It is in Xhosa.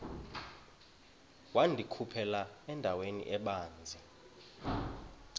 wandikhuphela endaweni ebanzi